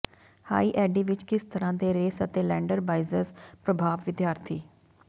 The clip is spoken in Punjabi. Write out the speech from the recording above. ਹਾਈ ਐਡੀ ਵਿਚ ਕਿਸ ਤਰ੍ਹਾਂ ਦੇ ਰੇਸ ਅਤੇ ਲੈਂਡਰ ਬਾਈਜ਼ਜ਼ ਪ੍ਰਭਾਵ ਵਿਦਿਆਰਥੀ